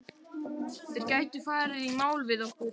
Þeir gætu farið í mál við okkur.